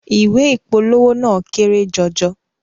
Ìwé ìpolówó náà kéré jọjọ